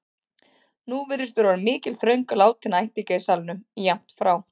Nú virðist vera orðin mikil þröng látinna ættingja í salnum, jafnt frá